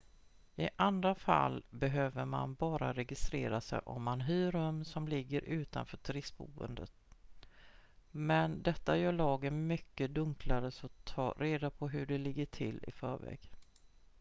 i andra fall behöver man bara registrera sig om man hyr rum som ligger utanför turistboenden men detta gör lagen mycket dunklare så ta reda på hur det ligger till i förväg